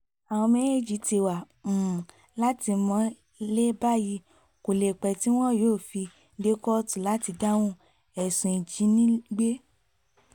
àwọn méjèèjì ti wà um látìmọ́lé báyìí kó lè pẹ́ tí wọn yóò fi um dé kóòtù láti dáhùn ẹ̀sùn ìjínigbé